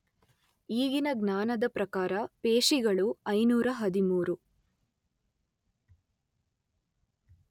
ಈಗಿನ ಜ್ಞಾನದ ಪ್ರಕಾರ ಪೇಶಿಗಳು ಐನೂರ ಹದಿಮೂರು